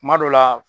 Kuma dɔ la